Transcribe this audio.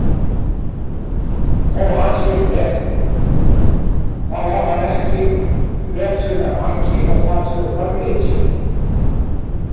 Þó hann sé með, þá á hann ekki veturinn að baki og það truflar mikið.